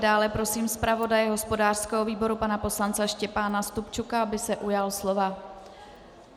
Dále prosím zpravodaje hospodářského výboru pana poslance Štěpána Stupčuka, aby se ujal slova.